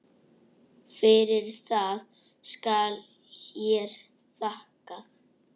Fyrir það skal hér þakkað.